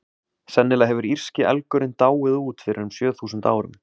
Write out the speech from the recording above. Sennilega hefur írski elgurinn dáið út fyrir um sjö þúsund árum.